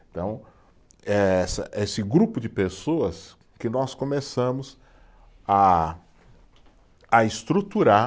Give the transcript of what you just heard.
Então, eh essa, esse grupo de pessoas que nós começamos a a estruturar